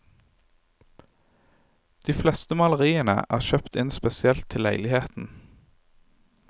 De fleste maleriene er kjøpt inn spesielt til leiligheten.